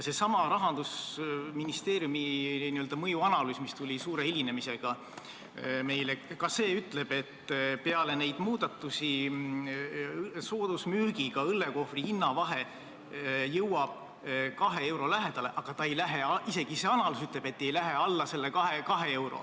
Seesama Rahandusministeeriumi mõjuanalüüs, mille me suure hilinemisega saime, ütleb, et peale neid muudatusi õllekohvri hinna vahe jõuab 2 euro lähedale, aga isegi see analüüs ütleb, et alla 2 euro see ei lange.